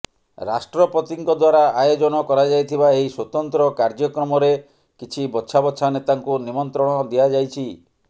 ରାଷ୍ଟ୍ରପତିଙ୍କ ଦ୍ବାରା ଆୟୋଜନ କରାଯାଇଥିବା ଏହି ସ୍ବତନ୍ତ୍ର କାର୍ଯ୍ୟକ୍ରମରେ କିଛି ବଛା ବଛା ନେତାଙ୍କୁ ନିମନ୍ତ୍ରଣ ଦିଆଯାଇଛି